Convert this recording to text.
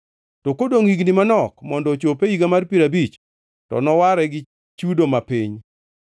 To kodongʼ gi higni manok mondo ochop e higa mar piero abich, to noware gi chudo ma piny.